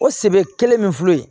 O sebe kelen min filɛ yen